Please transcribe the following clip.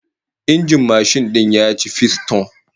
Injin mashin din ya ci fisto